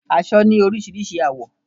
Aṣọ ni orísirísi àwọ́